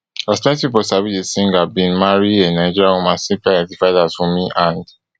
as plenti pipo sabi di singer bin marry a nigerian woman simply identified as wunmi and